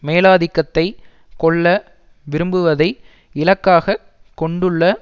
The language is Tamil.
மேலாதிக்கத்தை கொள்ள விரும்புவதை இலக்காக கொண்டுள்ள